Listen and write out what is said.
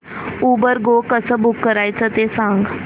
Uber go कसं book करायचं ते सांग